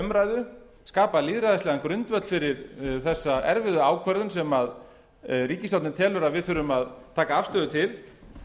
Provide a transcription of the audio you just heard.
umræðu skapa lýðræðislegan grundvöll fyrir þessa erfiðu ákvörðun sem ríkisstjórnin telur að við þurfum að taka afstöðu til